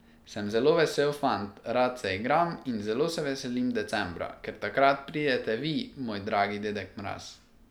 Sem zelo vesel fant, rad se igram in zelo se veselim decembra, ker takrat pridete vi moj dragi dedek Mraz ...